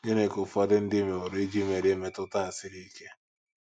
Gịnị ka ụfọdụ ndị meworo iji merie mmetụta a siri ike?